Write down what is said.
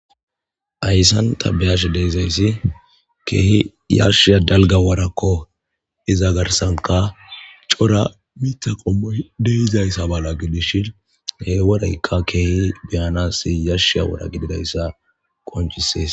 Hayssan tha be7ashe de7izayssi keehi yashshiya dalgga worakko; iza garssanka cora miththa qommoy de7izayssa mala gidishin he woraykka keehi be7anaassi yashshiya wora gididayssa qonccisees.